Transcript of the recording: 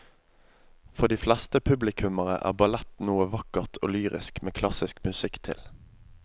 For de fleste publikummere er ballett noe vakkert og lyrisk med klassisk musikk til.